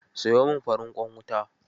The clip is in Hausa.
Sayo min farin ƙwan wuta.